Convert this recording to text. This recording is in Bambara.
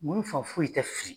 ŋunu fan foyi tɛ fili.